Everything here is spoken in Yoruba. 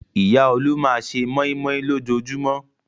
Ìyá Olú máa ṣe mọ́í-mọ́í lójoojúmọ́.